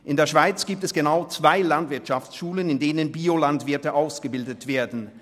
In der Schweiz gibt es genau zwei Landwirtschaftsschulen, wo Bio-Landwirte ausgebildet werden.